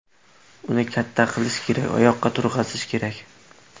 Uni katta qilish kerak, oyoqqa turg‘azish kerak.